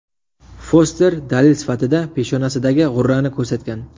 Foster dalil sifatida peshonasidagi g‘urrani ko‘rsatgan.